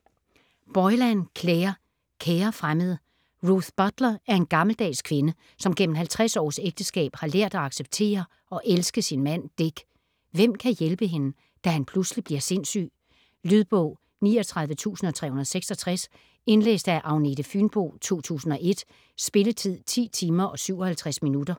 Boylan, Clare: Kære fremmede Ruth Butler er en gammeldags kvinde, som gennem 50 års ægteskab har lært at acceptere og elske sin mand, Dick. Hvem kan hjælpe hende, da han pludselig bliver sindssyg? Lydbog 39366 Indlæst af Agnete Fynboe, 2001. Spilletid: 10 timer, 57 minutter.